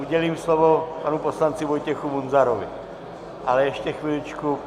Udělím slovo panu poslanci Vojtěchu Munzarovi, ale ještě chviličku.